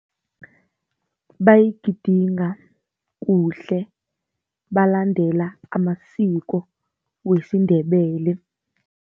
Bayigidinga kuhle balandela amasiko wesiNdebele.